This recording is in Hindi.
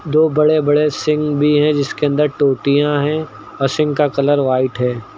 दो बड़े बड़े सिंक भी हैं जिसके अंदर टोटियां हैं और सिंक का कलर व्हाइट है।